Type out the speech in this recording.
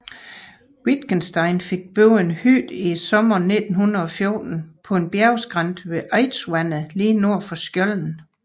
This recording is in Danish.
Wittgenstein fik bygget en hytte i sommeren 1914 på en bjergskrænt ved Eidsvatnet lige nord for Skjolden